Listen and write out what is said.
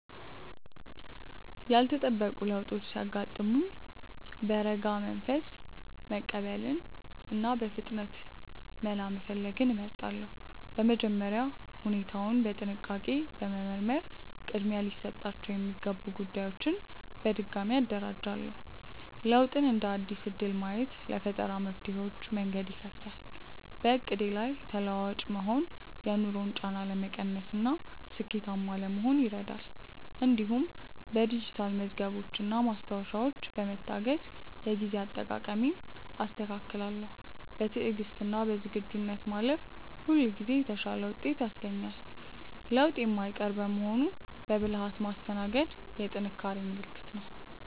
ያልተጠበቁ ለውጦች ሲያጋጥሙኝ በረጋ መንፈስ መቀበልንና በፍጥነት መላ መፈለግን እመርጣለሁ። በመጀመሪያ ሁኔታውን በጥንቃቄ በመመርመር ቅድሚያ ሊሰጣቸው የሚገቡ ጉዳዮችን በድጋሚ አደራጃለሁ። ለውጥን እንደ አዲስ እድል ማየት ለፈጠራ መፍትሄዎች መንገድ ይከፍታል። በዕቅዴ ላይ ተለዋዋጭ መሆን የኑሮን ጫና ለመቀነስና ስኬታማ ለመሆን ይረዳል። እንዲሁም በዲጂታል መዝገቦችና ማስታወሻዎች በመታገዝ የጊዜ አጠቃቀሜን አስተካክላለሁ። በትዕግስትና በዝግጁነት ማለፍ ሁልጊዜ የተሻለ ውጤት ያስገኛል። ለውጥ የማይቀር በመሆኑ በብልሃት ማስተናገድ የጥንካሬ ምልክት ነው።